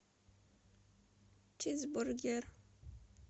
чизбургер